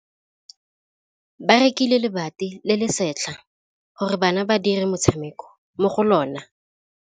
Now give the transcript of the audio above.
Ba rekile lebati le le setlha gore bana ba dire motshameko mo go lona.